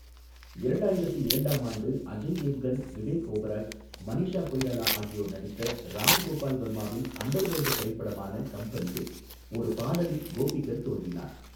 இரண்டாயிரத்து இரண்டாம் ஆண்டு அஜய் தேவ்கன், விவேக் ஓபராய், மனிஷா கொய்ராலா ஆகியோர் நடித்த ராம் கோபால் வர்மாவின் அண்டர்வேர்ல்ட் திரைப்படமான கம்பெனியில் ஒரு பாடலில் கோபிகர் தோன்றினார்.